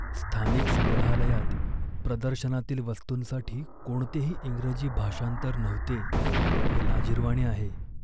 स्थानिक संग्रहालयात प्रदर्शनातील वस्तूंसाठी कोणतेही इंग्रजी भाषांतर नव्हते हे लाजिरवाणे आहे.